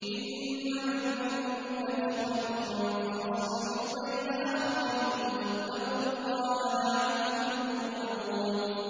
إِنَّمَا الْمُؤْمِنُونَ إِخْوَةٌ فَأَصْلِحُوا بَيْنَ أَخَوَيْكُمْ ۚ وَاتَّقُوا اللَّهَ لَعَلَّكُمْ تُرْحَمُونَ